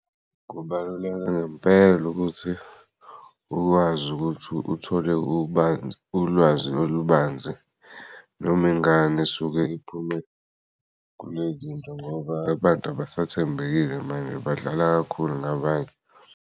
Kubaluleke ngempela ukuthi ukwazi ukuthi uthole ulwazi olubanzi noma ingane esuke iphume kulezinto ngoba abantu abasathembekile manje badlala kakhulu ngabanye.